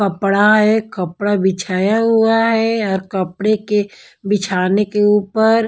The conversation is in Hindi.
कपड़ा है कपड़ा बिछाया हुआ है और कपड़े के बिछाने के ऊपर--